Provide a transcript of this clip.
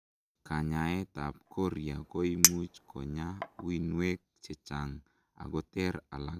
kanyaet ab koria koimuch konyaa uinwek chechang akoter alak